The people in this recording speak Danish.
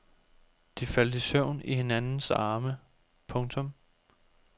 De faldt i søvn i hinandens arme. punktum